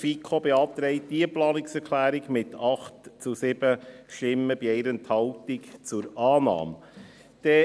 Die FiKo beantragt diese Planungserklärung mit 8 zu 7 Stimmen bei 1 Enthaltung zur Annahme.